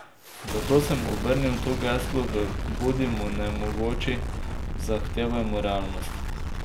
Zato sem obrnil to geslo v Bodimo nemogoči, zahtevajmo realnost.